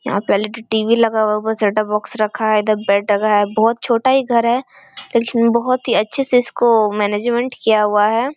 यहाँ पे LED. TV. लगा हुआ है। ऊपर सेटअप बॉक्स रखा है। इधर बेड रखा है। बोहोत छोटा ही घर है लेकिन बोहोत ही अच्छे से इसको मैनेजमेंट किया हुआ है।